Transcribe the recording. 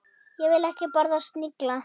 Ég vil ekki borða snigla.